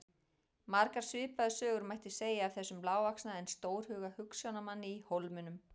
Margar svipaðar sögur mætti segja af þessum lágvaxna en stórhuga hugsjónamanni í Hólminum.